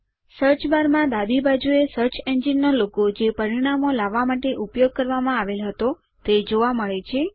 search bar માં ડાબી બાજુએ સર્ચ એન્જિન નો લોગો જે પરિણામો લાવવા માટે ઉપયોગ કરવામાં આવેલ હતો તે જોવા મળે છે